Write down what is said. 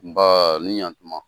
Nbaa ni ɲantuma.